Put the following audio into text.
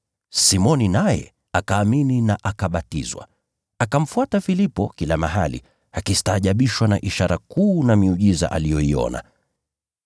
Simoni naye akaamini na akabatizwa. Akamfuata Filipo kila mahali, akistaajabishwa na ishara kuu na miujiza aliyoiona.